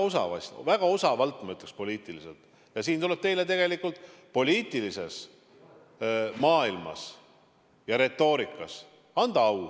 Selles mõttes tuleb teile poliitilises maailmas ja retoorikas au anda.